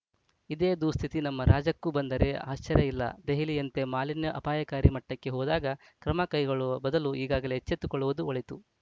ಇದೇ ದುಸ್ಥಿತಿ ನಮ್ಮ ರಾಜಕ್ಕೂ ಬಂದರೆ ಆಶ್ಚರ್ಯ ಇಲ್ಲ ದೆಹಲಿಯಂತೆ ಮಾಲಿನ್ಯ ಅಪಾಯಕಾರಿ ಮಟ್ಟಕ್ಕೆ ಹೋದಾಗ ಕ್ರಮಕೈಗೊಳ್ಳುವ ಬದಲು ಈಗಲೇ ಎಚ್ಚೆತ್ತುಕೊಳ್ಳುವುದು ಒಳಿತು